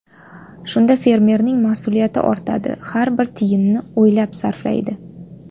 Shunda fermerning mas’uliyati ortadi, har bir tiyinni o‘ylab sarflaydi.